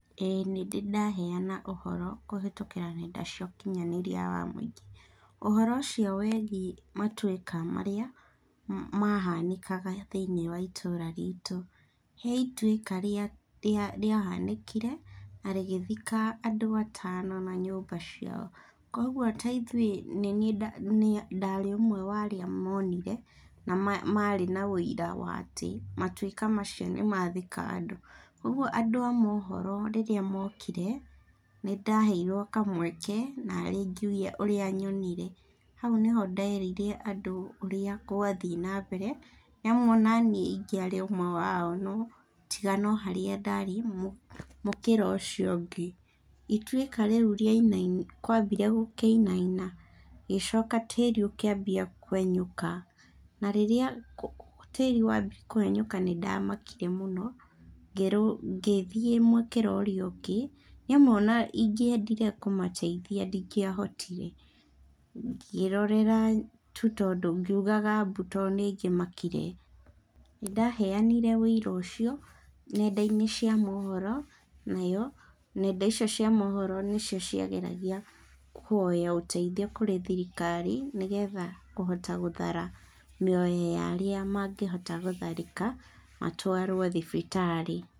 ĩĩ nĩndĩ ndaheana ũhoro kũhetũkĩra nenda cia ũkinyanĩria wa mũingĩ, ũhoro ũcio wĩgiĩ matwĩka marĩa mahanĩkaga thĩiniĩ wa itũra ritũ, he itwĩka rĩa, rĩa, rĩa hanĩkire, na rĩgĩthika andũ atano na nyumba ciao, kwoguo ta ithuĩ, nĩniĩ ndarĩ ũmwe wa arĩa monire, na ma marĩ na ũira wa atĩ, matwĩka macio nĩ mathika andũ, kwoguo andũ a mohoro rĩrĩa mokire, nĩ ndaheirwo kamweke narĩ ngiuge ũrĩa nyonire, hau nĩho nderire andũ ũrĩa gwathiĩ na mbere, nĩ amu onaniĩ ingĩarĩ ũmwe wao, tiga noharĩa ndarĩ mũkĩra ũcio ũngĩ, itwĩka rĩũ rĩa, kwambire gũkĩinaina, ngĩcoka tĩri ũkĩambia kwenyoka, na rĩrĩa tĩri wambirie kwenyoka nĩ ndamakire mũno, ngĩrũga, ngĩthiĩ mũkĩra ũrĩa ũngĩ, nĩ amu ona ingĩendire kũmateithia, ndingĩahotire, ngĩrorera tu tondũ, ngiugaga mbu to nĩngimakire, nĩ ndaheyanire wĩira ũcio nenda -inĩ cia mohoro, nayo nenda icio cĩa mohoro nĩ cio ciageragia kũhoya ũteithio kũrĩ thirikari, nĩgetha kũhota gũthara mĩoyo yarĩa mangĩhota gũtharĩka, matwarwo thibitarĩ.